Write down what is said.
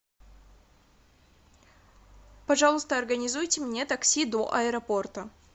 пожалуйста организуйте мне такси до аэропорта